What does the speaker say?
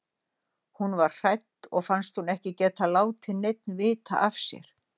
Hún varð hrædd og fannst hún ekki geta látið neinn vita af sér.